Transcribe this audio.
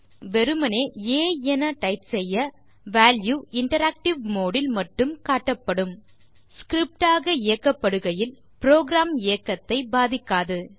மேலும் வெறுமே ஆ என டைப் செய்ய வால்யூ ஆ இன்டராக்டிவ் மோடு இல் மட்டும் காட்டப்படும் ஸ்கிரிப்ட் ஆக இயக்கப்படுகையில் புரோகிராம் இயக்கத்தை பாதிக்காது